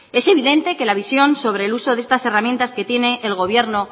es evidente que la visión sobre el uso de estas herramientas que tiene el gobierno